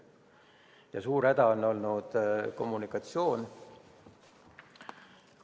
Ja suur häda on olnud kommunikatsiooniga.